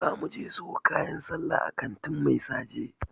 Za .muje siyo kayan sallah a kantin Mai saje.